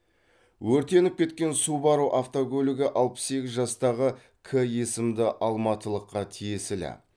өртеніп кеткен субару автокөлігі алпыс сегіз жастағы к есімді алматылыққа тиесілі